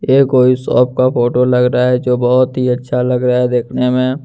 यह कोई सोप का फोटो लग रहा है जो बहुत ही अच्छा लग रहा है देखने में--